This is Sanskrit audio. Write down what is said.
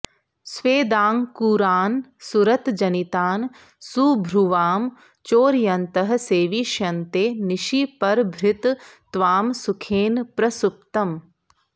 स्वेदाङ्कूरान् सुरतजनितान् सुभ्रुवां चोरयन्तः सेविष्यन्ते निशि परभृत त्वां सुखेन प्रसुप्तम्